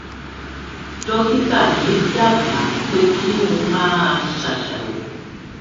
dókítà mi dábàá pé kí n máa ṣàṣàrò